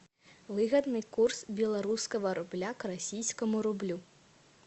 выгодный курс белорусского рубля к российскому рублю